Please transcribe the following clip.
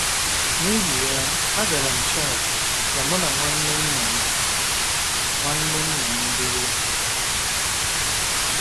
N’ihi ya, agara m Chauk ka mụ na nwanne nna m nwanne nna m biri.